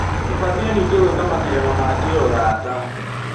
Tũbatie ningĩ gwĩka macindano ma kĩũrata.